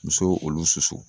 Muso olu susu